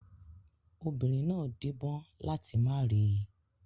Obìnrin náà díbọ́n láti má rí i.